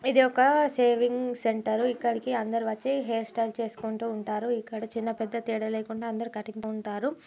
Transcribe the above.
ఇది ఒక shaving centre ఇక్కడికి అందరు వచ్చి హెయిర్ స్టైల్ చేసుకుంటూ ఉంటారు. ఇక్కడ చిన్న పెద్ద తేడా లేకుండా అందరు కటింగ్ ఉంటారు.